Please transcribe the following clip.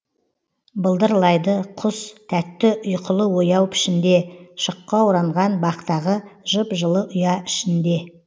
былдырлайды құс тәтті ұйқылы ояу пішінде шыққа оранған бақтағы жып жылы ұя ішінде